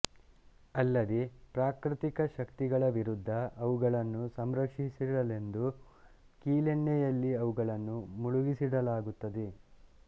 ಅಲ್ಲದೇ ಪ್ರಾಕೃತಿಕ ಶಕ್ತಿಗಳ ವಿರುದ್ಧ ಅವುಗಳನ್ನು ಸಂರಕ್ಷಿಡಲೆಂದು ಕೀಲೆಣ್ಣೆಯಲ್ಲಿ ಅವುಗಳನ್ನು ಮುಳುಗಿಸಿಡಲಾಗುತ್ತದೆ